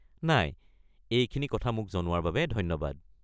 নাই, এইখিনি কথা মোক জনোৱাৰ বাবে ধন্যবাদ।